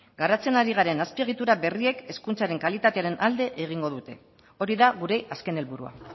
garatzen ari garen azpiegitura berriek hezkuntzaren kalitatearen alde egingo dute hori da gure azken helburua